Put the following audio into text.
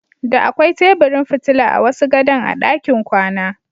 Da akwai teburin fitila a wasu gadon a ɗakin kwana.